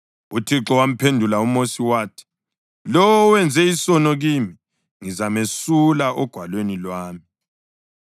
UThixo wamphendula uMosi wathi, “Lowo owenze isono kimi ngizamesula ogwalweni lwami.